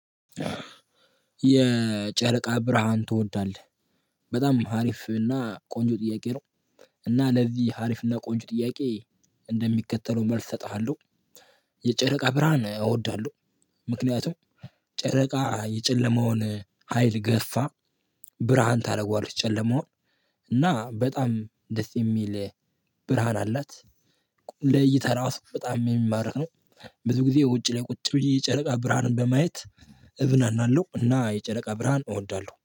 የጨረቃ ብርሃን ትወዳለህ? በጣም ሀሪፍ እና ቆንጆ ጥያቄ ነው። እና ለዚህ ሀሪፍና ቆንጆ ጥያቄ እንደሚከተለው መልስ እሰጥሃለሁ። የጨረቃ ብርሃን እወዳለሁ። ምክንያቱም ጨረቃ የጨለማውን ሀይል ገፍፋ። ብርሃን ታደርገዋለች ጨለማውን እና በጣም ደስ የሚል ብርሃን አላት። ለይተህ እራሱ በጣም የሚማረክ ነው። ብዙ ጊዜ ውጭ ላይ ቁጭ ብዬ የጨረቃ ብርሃንን በማየት እዝናናለሁ። እና የጨረቃ ብርሃን እወዳለሁ